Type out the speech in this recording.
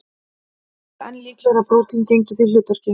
Flestir töldu enn líklegra að prótín gegndu því hlutverki.